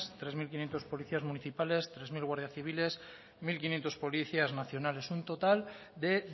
tres mil quinientos policías municipales tres mil guardias civiles mil quinientos policías nacionales un total de